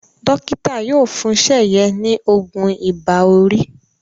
Dókítà yóò fún Seye ní oògùn Ibà-orí